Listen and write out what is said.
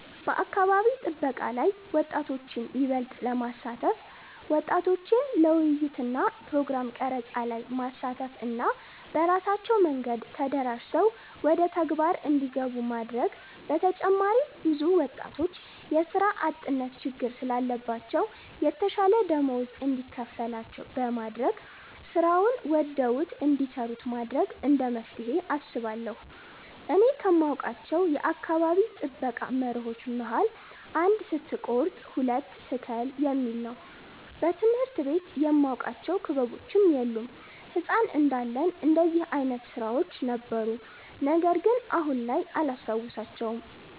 በአካባቢ ጥበቃ ላይ ወጣቶችን ይበልጥ ለማሳተፍ ወጣቶችን ለውይይት እና ፕሮግራም ቀረፃ ላይ ማሳተፍ እና በራሳቸው መንገድ ተደራጅተው ወደተግባር እንዲገቡ ማድረግ በተጨማሪም ብዙ ወጣቶች የስራ አጥነት ችግር ስላለባቸው የተሻለ ደመወዝ እንዲከፈላቸው በማድረግ ስራውን ወደውት እንዲሰሩት ማድረግ እንደመፍትሄ አስባለሁ። እኔ ከማውቃቸው የአካባቢ ጥበቃ መርሆች መሀል "አንድ ስትቆርጥ ሁለት ትክል "የሚል ነው። በትምህርት ቤት የማቃቸው ክበቦች የሉም። ህፃን እንዳለን እንደዚህ አይነት ስራዎች ነበሩ ነገርግን አሁን ላይ አላስታውሳቸውም።